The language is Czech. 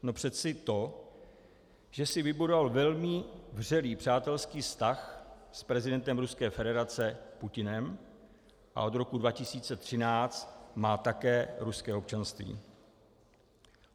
No přece to, že si vybudoval velmi vřelý přátelský vztah s prezidentem Ruské federace Putinem a od roku 2013 má také ruské občanství.